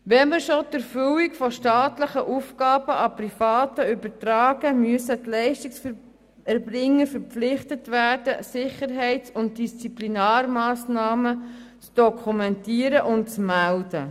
Wenn wir schon die Erfüllung von staatlichen Aufgaben an Private übertragen, müssen die Leistungserbringer verpflichtet werden, Sicherheits- und Disziplinarmassnahmen zu dokumentieren und zu melden.